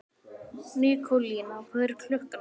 Nikólína, hvað er klukkan?